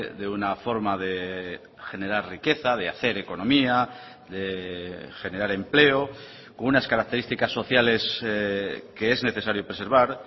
de una forma de generar riqueza de hacer economía de generar empleo con unas características sociales que es necesario preservar